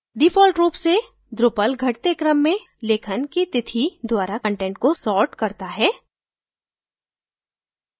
default रूप से drupal घटते क्रम में लेखन की तिथि द्वारा कंटेंट को sorts करता है